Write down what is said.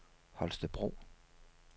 Holstebro